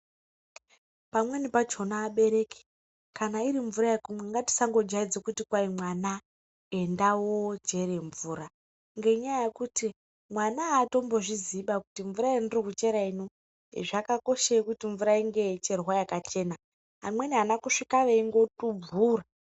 Pamweni pachona abereki, kana iri mvura yekumwa, ngatisangojaidze kuti kwahi mwana enda oochere mvura. Ngenyaya yekuti mwana haatombozviziiba kuti mvura yandinochera ino, zvakakoshei kuti mvura inge yeicherwa yakachena. Amweni ana kusvika veingotubvura.